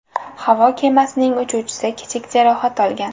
Havo kemasining uchuvchisi kichik jarohat olgan.